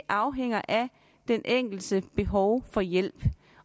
afhænger af den enkeltes behov for hjælp